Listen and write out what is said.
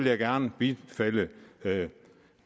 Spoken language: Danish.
jeg gerne bifalde